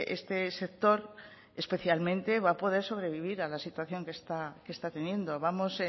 este sector especialmente va a poder sobrevivir a la situación que está teniendo vamos